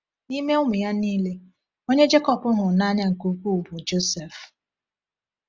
N’ime ụmụ ya niile, onye Jekọb hụrụ n’anya nke ukwuu bụ Jọsef.